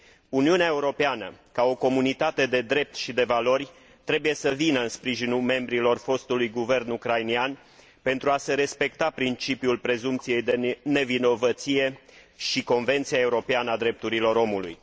Uniunea Europeană, ca o comunitate de drept și de valori, trebuie să vină în sprijinul membrilor fostului guvern ucrainean, pentru a se respecta principiul prezumției de nevinovăție și Convenția Europeană a Drepturilor Omului.